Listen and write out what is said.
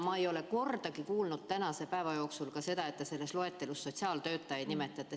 Ma ei ole kordagi tänase päeva jooksul kuulnud, et te selles loetelus sotsiaaltöötajaid nimetaksite.